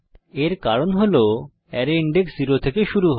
এর কারণ হল অ্যারে সূচক 0 থেকে শুরু হয়